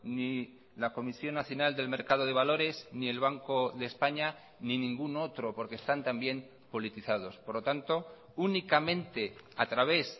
ni la comisión nacional del mercado de valores ni el banco de españa ni ningún otro porque están también politizados por lo tanto únicamente a través